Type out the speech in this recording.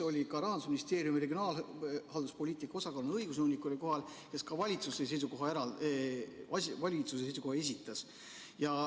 Ka Rahandusministeeriumi regionaalhalduspoliitika osakonna õigusnõunik oli kohal, kes valitsuse seisukoha esitas.